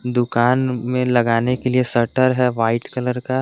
दुकान में लगाने के लिए शटर है वाइट कलर का --